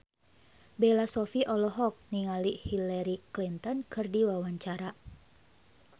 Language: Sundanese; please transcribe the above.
Bella Shofie olohok ningali Hillary Clinton keur diwawancara